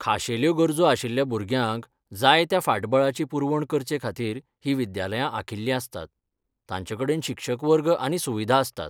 खाशेल्यो गरजो आशिल्ल्या भुरग्यांक जाय त्या फाटबळाची पुरवण करचेखातीर हीं विद्यालयां आंखिल्लीं आसतात, तांचेकडेन शिक्षक वर्ग आनी सुविधा आसतात.